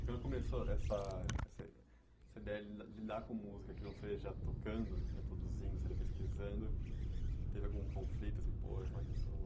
E quando começou essa essa essa ideia de lidar de lidar com música, que não seria já tocando, já produzindo, já pesquisando, teve algum conflito?